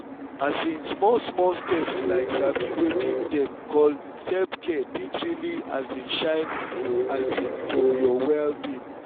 um small-small steps like sabi wetin dem call self-care fit really um shine um for your well-being.